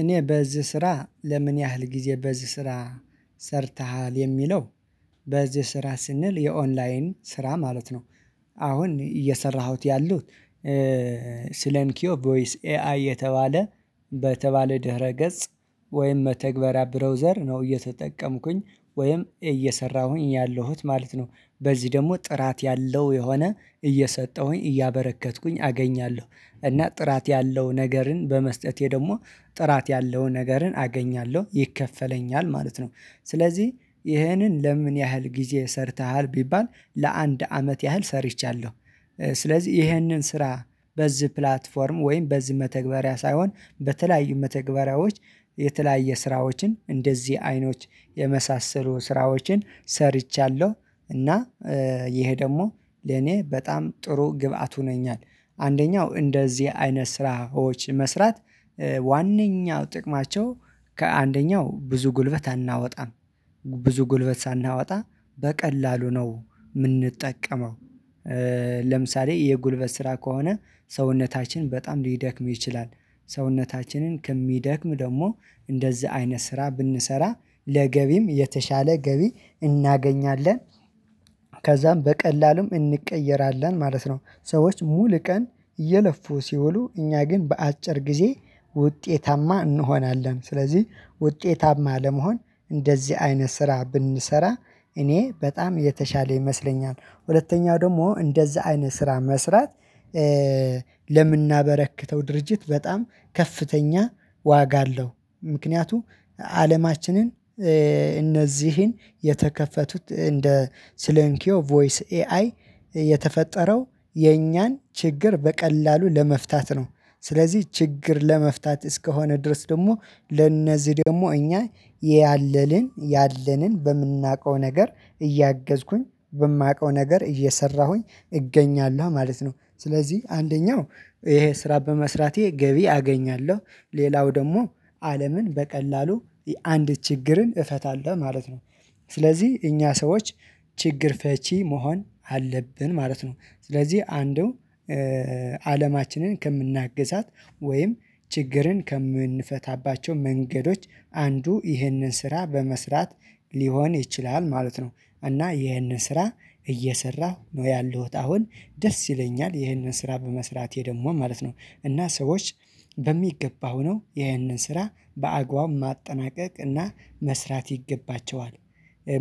እኔ በዚህ ስራ ለምን ያህል ጊዜ በዚህ ስራ ሰርተሃል? የሚለው በዚህ ስራ ስንል የኦንላይን ስራ ማለት ነው። አሁን እየሰራሁት ያሉት ስለንኪዮ ቮይስ ኤአይ የተባለ በተባለ ድህረ ገጽ። ወይም መተግበሪያ ብሮዘር ነው እየተጠቀምኩኝ ወይም እየሰራሁኝ ያለሁት ማለት ነው። በዚህ ደግሞ ጥራት ያለው የሆነ እየሰጠሁኝ እያበረከትኩኝ አገኛለሁ። እና ጥራት ያለው ነገርን በመስጠቴ ደግሞ ጥራት ያለውን ነገርን አገኛለሁ ይከፈለኛል። ማለት ነው ስለዚህ ይህንን ለምን ያህል ጊዜ ሰርተሃል ቢባል ለአንድ አመት ያህል ሰርቻለሁ። ስለዚህ ይህንን ስራ በዚህ ፕላትፎርም ወይም በዚህ መተግበሪያ ሳይሆን በተለያዩ መተግበሪያዎች የተለያየ ስራዎችን እንደዚህ አይኖች የመሳሰሉ ስራዎችን ሰርቻለሁ። እና ይሄ ደግሞ ለኔ በጣም ጥሩ ግብአት ሆነኛል። አንደኛው እንደዚህ አይነት ስራዎች መስራት ዋናኛው ጥቅማቸው ከአንደኛው ብዙ ጉልበት አናወጣም። ብዙ ጉልበት ሳናወጣ በቀላሉ ነው የምንጠቀመው። ለምሳሌ የጉልበት ስራ ከሆነ ሰውነታችን በጣም ሊደክም ይችላል። ሰውነታችንን ከሚደክም ደግሞ እንደዚህ አይነት ስራ ብንሰራ ለገቢም የተሻለ ገቢ እናገኛለን። ከዛም በቀላሉም እንቀየራለን ማለት ነው። ሰዎች ሙሉ ቀን እየለፉ ሲውሉ እኛ ግን በአጭር ጊዜ ውጤታማ እንሆናለን። ስለዚህ ውጤታማ ለመሆን እንደዚህ አይነት ስራ ብንሰራ እኔ በጣም የተሻለ ይመስለኛል። ሁለተኛው ደግሞ እንደዛ አይነት ስራ መስራት ለምናበረክተው ድርጅት በጣም ከፍተኛ ዋጋ አለው። ምክንያቱም አለማችንን እነዚህን የተከፈቱት እንደ ስለንኪዮ ቮይስ ኤአይ የተፈጠረው የኛን ችግር በቀላሉ ለመፍታት ነው። ስለዚህ ችግር ለመፍታት እስከሆነ ድረስ ደግሞ ለእነዚህ ደግሞ እኛ ያለንን ያለንን በምናውቀው ነገር እያገዝኩኝ በማውቀው ነገር እየሰራሁኝ እገኛለሁ ማለት ነው። ስለዚህ አንደኛው ይሄ ስራ በመስራቴ ገቢ አገኛለሁ። ሌላው ደግሞ አለምን በቀላሉ አንድ ችግርን እፈታለሁ ማለት ነው። ስለዚህ እኛ ሰዎች ችግር ፈቺ መሆን አለብን። ማለት ነው ስለዚህ አንዱ አለማችንን ከምናግዛት ወይም ችግርን ከምንፈታባቸው መንገዶች አንዱ ይህንን ስራ በመስራት ሊሆን ይችላል ማለት ነው። እና ይህንን ስራ እየሰራሁ ነው ያለሁት። አሁን ደስ ይለኛል ይህንን ስራ በመስራቴ ደግሞ ማለት ነው። እና ሰዎች በሚገባው ነው ያንን ስራ በአግባቡ ማጠናቀቅ እና መስራት ይገባቸዋል።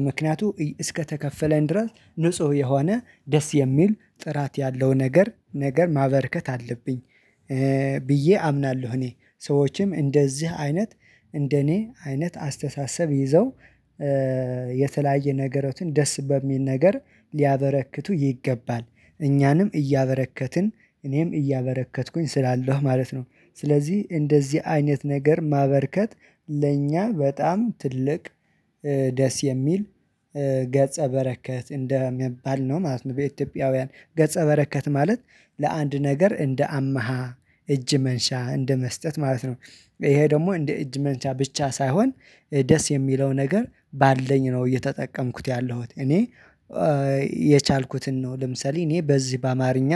ምክንያቱም እስከተከፈለን ድረስ ንጹህ የሆነ ደስ የሚል ጥራት ያለው ነገር ነገር ማበርከት አለብኝ። ብዬ አምናለሁ። እኔ ሰዎችም እንደዚህ አይነት እንደኔ አይነት አስተሳሰብ ይዘው የተለያየ ነገሮችን ደስ በሚል ነገር ሊያበረክቱ ይገባል። እኛንም እያበረከትን እኔም እያበረከትኩኝ ስላለው ማለት ነው። ስለዚህ እንደዚህ አይነት ነገር ማበርከት ለእኛ በጣም ትልቅ ደስ የሚል ገጸ በረከት እንደሚባል ነው ማለት ነው። በኢትዮጵያውያን ገጸ በረከት ማለት ለአንድ ነገር እንደ አማሃ እጅ መንሻ እንደ መስጠት ማለት ነው። ይሄ ደግሞ እንደ እጅ መንጫ ብቻ ሳይሆን ደስ የሚለው ነገር ባለኝ ነው እየተጠቀምኩት ያለሁት እኔ የቻልኩትን ነው ልምሰልኝ እኔ በዚህ በአማርኛ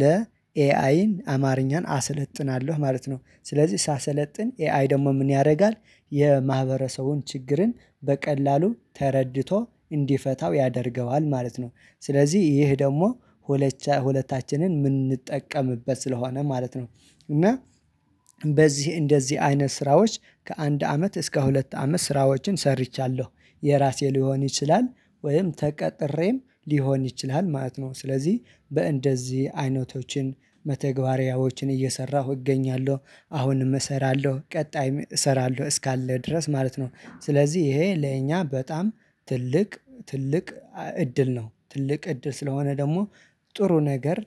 ለኤአይን አማርኛን አሰለጥናለሁ ማለት ነው። ስለዚህ ሳሰለጥን ኤአይ ደግሞ ምን ያደርጋል። የማህበረሰቡን ችግርን በቀላሉ ተረድቶ እንዲፈታው ያደርገዋል ማለት ነው። ስለዚህ ይህ ደግሞ ሁለቻ የምንጠቀምበት ስለሆነ ማለት ነው። እና በዚህ እንደዚህ አይነት ስራዎች ከአንድ አመት እስከ ሁለት አመት ስራዎችን ሰርቻለሁ። የራሴ ሊሆን ይችላል። ወይም ተቀጥሬም ሊሆን ይችላል። ማለት ነው ስለዚህ በእንደዚህ አይነቶችን መተግባሪያዎችን እየሰራሁ እገኛለሁ። አሁንም እሰራለሁ ቀጣይም እሰራለሁ። እስካለ ድረስ ማለት ነው ስለዚህ ይሄ ለእኛ በጣም ትልቅ ትልቅ እድል ነው ትልቅ እድል ስለሆነ ደግሞ ጥሩ ነገር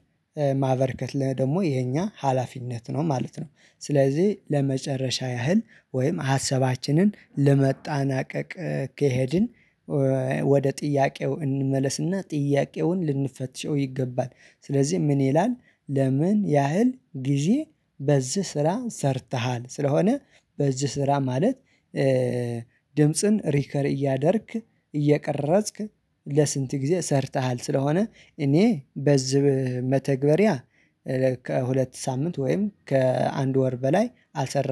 ማበርከት ደግሞ የኛ ሀላፊነት ነው ማለት ነው። ስለዚህ ለመጨረሻ ያህል ወይም ሀሰባችንን ለመጣናቀቅ ከሄድን ወደ ጥያቄው እንመለስና ጥያቄውን ልንፈትሸው ይገባል። ስለዚህ ምን ይላል ለምን ያህል ጊዜ በዚህ ስራ ሰርተሃል? ስለሆነ በዚህ ስራ ማለት ድምጽን ሪከር እያደረግክ እየቀረጽክ ለስንት ጊዜ ሰርተሃል። ስለሆነ እኔ በዝህ መተግበሪያ ከሁለት ሳምንት ወይም ከአንድ ወር በላይ አልሰራሁም